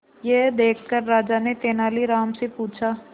यह देखकर राजा ने तेनालीराम से पूछा